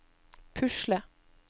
pusle